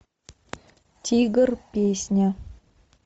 тигр песня